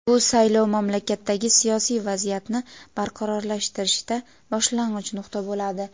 bu saylov mamlakatdagi siyosiy vaziyatni barqarorlashtirishda boshlang‘ich nuqta bo‘ladi.